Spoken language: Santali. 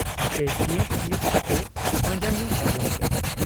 ᱟᱯᱮ ᱪᱤᱭᱟᱺᱵ ᱪᱤᱭᱟᱺᱵ ᱠᱟᱛᱮ ᱯᱟᱸᱡᱟᱭᱤᱧ ᱛᱟᱵᱚᱱ ᱯᱮ ᱾'